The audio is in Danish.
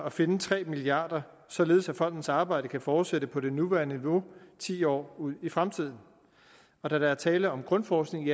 at finde tre milliard kr således at fondens arbejde kan fortsætte på det nuværende niveau ti år ud i fremtiden og da der er tale om grundforskning